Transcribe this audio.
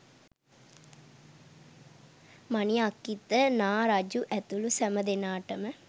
මණි අක්‍ඛිත නා රජු ඇතුළු සැම දෙනාටම